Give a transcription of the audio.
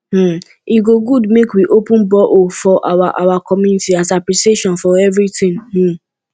um e go good make we open borehole for our our community as appreciation for everything um